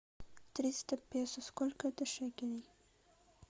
триста песо сколько это шекелей